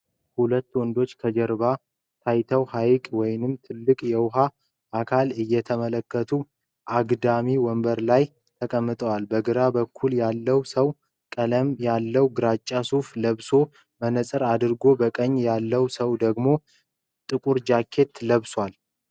ሁለት ወንዶች ከጀርባ ታይተው ሀይቅ ወይም ትልቅ የውሃ አካልን እየተመለከቱ አግዳሚ ወንበር ላይ ተቀምጠዋል። በግራ በኩል ያለው ሰው ቀለል ያለ ግራጫ ሱፍ ለብሶ መነፅር አድርጓል፤ በቀኝ ያለው ሰው ደግሞ ጥቁር ጃኬት ለብሷል።